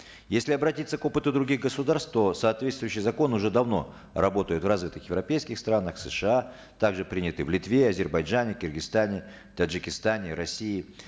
если обратиться к опыту других государств то соответствующие законы уже давно работают в развитых европейских странах сша также приняты в литве азербайджане киргизстане таджикистане россии